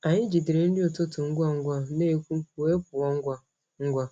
Anyị jidere nri ụtụtụ ngwa ngwa n’ekwú wee pụọ ngwa ngwa.